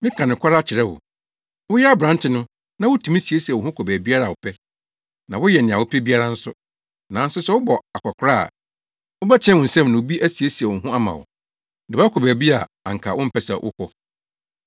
Meka nokware akyerɛ wo. Woyɛ aberante no, na wutumi siesie wo ho kɔ baabiara a wopɛ, na woyɛ nea wopɛ biara nso. Nanso sɛ wobɔ akwakoraa a, wobɛteɛ wo nsam na obi asiesie wo ho ama wo, de wo akɔ baabi a anka wompɛ sɛ wokɔ.”